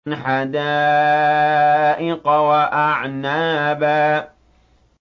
حَدَائِقَ وَأَعْنَابًا